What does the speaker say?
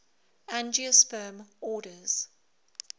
angiosperm orders